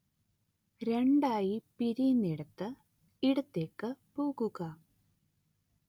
രണ്ടായി പിരിയുന്നയിടത്ത് ഇടത്തേക്ക് പോകുക